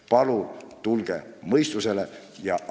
Palun tulge mõistusele!